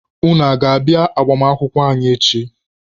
Unu aga-abịa agbamakwụkwọ anyị echi?